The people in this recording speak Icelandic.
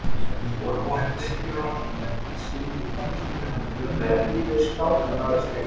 Reyndar er óhætt að segja að með sinni frammistöðu hafi Unnur skákað Kristjáni.